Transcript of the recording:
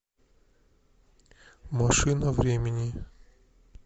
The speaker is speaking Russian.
машина времени